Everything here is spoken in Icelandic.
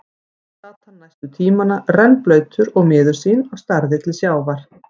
Þar sat hann næstu tímana, rennblautur og miður sín og starði til sjávar.